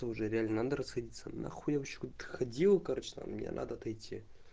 это уже реально надо расходиться нахуй я вообще куда-то ходил короче мне надо отойти